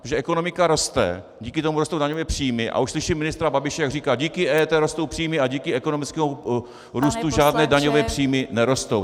Protože ekonomika roste, díky tomu rostou daňové příjmy, a už slyším ministra Babiše, jak říká: Díky EET rostou příjmy a díky ekonomickému růstu žádné daňové příjmy nerostou.